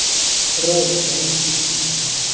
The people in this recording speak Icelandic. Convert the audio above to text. Rótar í skítnum.